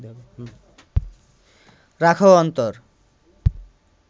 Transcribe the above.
রাখহ অন্তর